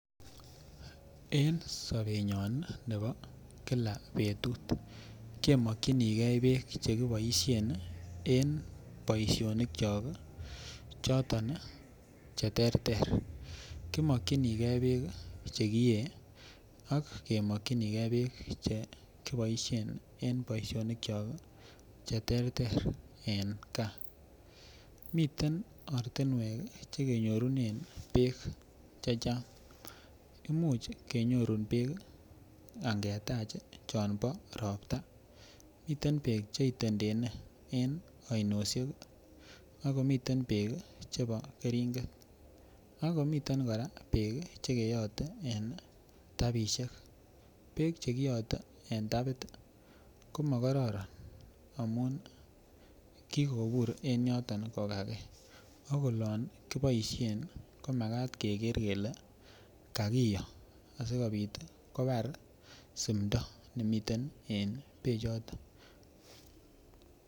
En sobenyon nebo kila betut kemokchinigei beek chekiboishen en boishonik chon choton cheterter kimokchinigei beek chekiyei ak kemokchinigei beek chekiboishen en boishonik chon cheterter en kaa miten ortinwek chekenyorunen beek checho imuch kenyorune beek angetach chon bo ropta miten beek cheitendene en oinoshek akomiten beek chebo keringet ako miten kora beek chekeyote en rapishek beek chekiyote en tapit komakororon amun kikobur en yoto kokakei akolon kiboishen komakat keker kele kakiyo asikobit kobar simto nemiten en beechoto